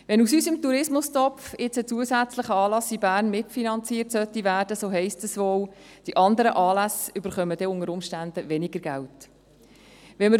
Wenn aus unserem Tourismustopf nun ein zusätzlicher Anlass in Bern mitfinanziert werden sollte, so heisst das wohl, dass die anderen Anlässe dann unter Umständen weniger Geld erhalten.